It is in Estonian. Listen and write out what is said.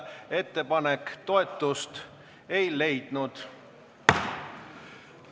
Ettepanek toetust ei leidnud.